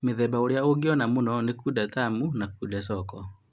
Mĩthemba ĩrĩa ũngĩona mũno ni Kunde Tamu, Kunde Soko